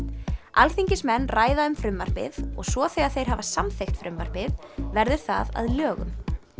alþingismenn ræða um frumvarpið og svo þegar þeir hafa samþykkt frumvarpið verður það að lögum